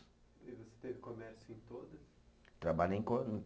E você teve comércio em todas? Trabalhei